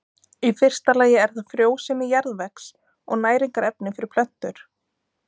Í fyrsta lagi er það frjósemi jarðvegs og næringarefni fyrir plöntur.